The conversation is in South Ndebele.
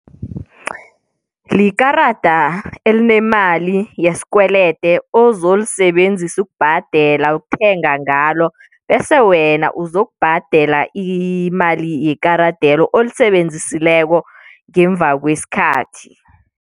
likarada elinemali yesikwelede ozolisebenzisa ukubhadela ukuthenga ngalo bese wena uzokubhadela imali yekaradelo olisebenzisileko ngemuba kwesikhathi.